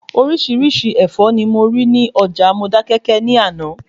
Orísirísi Ẹ̀fọ́ ni mo rí ní Ọjà Modákẹ́kẹ́ ni ana